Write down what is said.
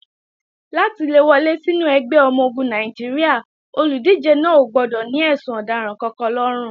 Láti le wọlé sínú ẹgbẹ́ ọmọ-ogun Nàìjíríà, olùdíje náà ò gbọdọ̀ ní ẹ̀sùn ọ̀daràn kankan lọ́rùn.